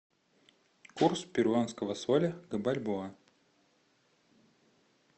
курс перуанского соля к бальбоа